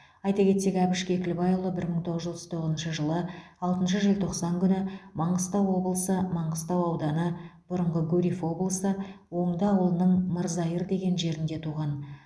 айта кетсек әбіш кекілбайұлы бір мың тоғыз жүз отыз тоғызыншы жылы алтыншы желтоқсан күні маңғыстау облысы маңғыстау ауданы бұрыңғы гурьев облысы оңды ауылының мырзайыр деген жерінде туған